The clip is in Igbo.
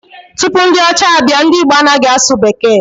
Tupu ndị ọcha abịa, ndị Igbo anaghị asụ bekee